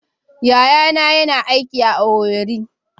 Yayana yana aiki a Owerri.